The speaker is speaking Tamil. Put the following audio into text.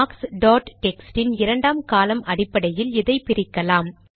மார்க்ஸ் டாட் டெக்ஸ்ட் இன் இரண்டாம் காலம் அடிப்படையில் இதை பிரிக்கலாம்